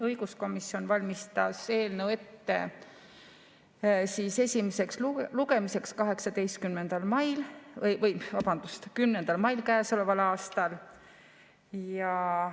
Õiguskomisjon valmistas eelnõu ette esimeseks lugemiseks 10. mail käesoleval aastal.